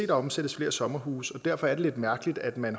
der omsættes flere sommerhuse og derfor er det lidt mærkeligt at man